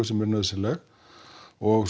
sem er nauðsynleg og